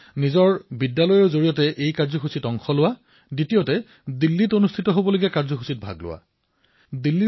প্ৰথমটো হল নিজৰ বিদ্যালয়তেই এই কাৰ্যসূচীৰ অংশীদাৰ হোৱা আৰু দ্বিতীয়তে ইয়াত দিল্লীত হোৱা কাৰ্যসূচীত অংশগ্ৰহণ কৰা